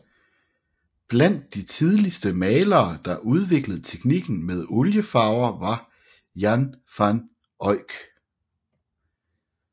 Blandt de tidligste malere der udviklede teknikken med oliefarver var Jan van Eyck